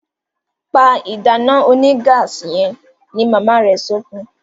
Pá ìdáná onígáàsì yen! ní mama rẹ sọfún.